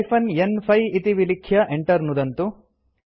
hyphen न्5 इति विलिख्य enter नुदन्तु